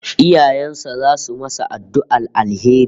Iyayen sa zasu masa addu'ar alheri